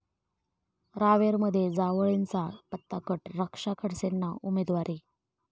रावेरमध्ये जावळेंचा पत्ता कट, रक्षा खडसेंना उमेदवारी